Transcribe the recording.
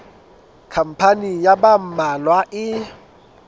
khampani ya ba mmalwa e